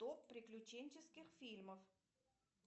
топ приключенческих фильмов